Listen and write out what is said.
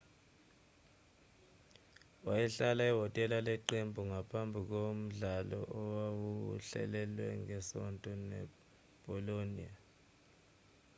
wayehlala ehhotela leqembu ngaphambi komdlalo owawuhlelelwe ngesonto nebolonia